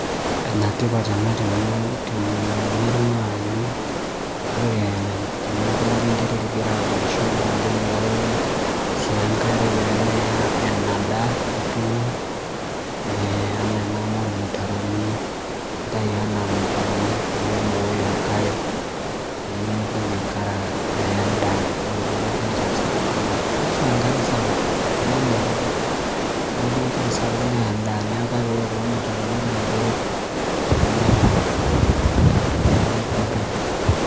Enetipat ena temurua amu ore teningo nchi enterit igira aunisho naa kiiboyo sii enkare peeme enadaa nituuno ena ena amu ilmutaroni intayu anaa ilmutaroni piibooyo enkare piimitoki enkare aya en'daa amu ore peelotu enchan sapuk naa keyau engare sapuk keya in'daiki Kelotu engare sapuk neya en'daa kake ore kulo mutaroni naa keret te engare